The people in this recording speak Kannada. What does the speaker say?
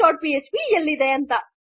missing dot PHP